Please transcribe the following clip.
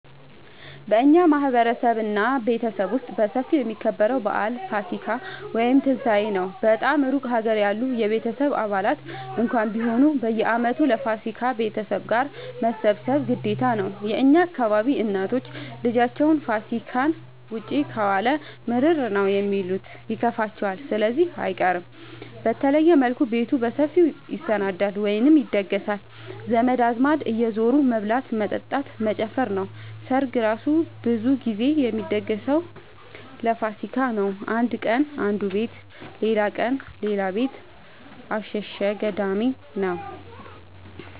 በእኛ ማህበረሰብ እና ቤተሰብ ውስጥ በሰፊው የሚከበረው በአል ፋሲካ(ትንሳኤ) ነው። በጣም እሩቅ ሀገር ያሉ የቤተሰብ አባላት እንኳን ቢሆኑ በየአመቱ ለፋሲካ ቤተሰብ ጋር መሰብሰብ ግዴታ ነው። የእኛ አካባቢ እናቶች ልጃቸው ፋሲካን ውጪ ከዋለ ምርር ነው የሚሉት ይከፋቸዋል ስለዚህ አይቀርም። በተለየ መልኩ ቤቱ በሰፊው ይሰናዳል(ይደገሳል) ዘመድ አዝማድ እየዙሩ መብላት መጠጣት መጨፈር ነው። ሰርግ እራሱ ብዙ ግዜ የሚደገሰው ለፋሲካ ነው። አንድ ቀን አነዱ ቤት ሌላቀን ሌላ ቤት አሸሸ ገዳሜ ነው።